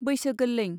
बैसो गोलैं.